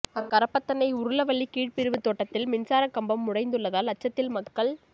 அக்கரப்பத்தனை உருளவள்ளி கீழ்பிரிவு தோட்டத்தில் மின்சார கம்பம் உடைந்துள்ளதால் அச்சத்தில் மக்கள்